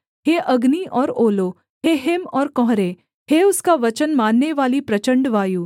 हे अग्नि और ओलों हे हिम और कुहरे हे उसका वचन माननेवाली प्रचण्ड वायु